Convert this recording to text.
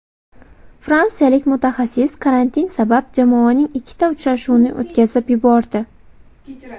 Fransiyalik mutaxassis karantin sabab jamoaning ikkita uchrashuvini o‘tkazib yubordi.